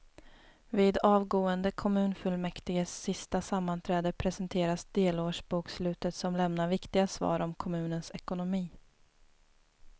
Vid avgående kommunfullmäktiges sista sammanträde presenteras delårsbokslutet som lämnar viktiga svar om kommunens ekonomi.